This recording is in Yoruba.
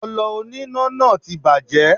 Ọlọ oníná náà ti bàjẹ́.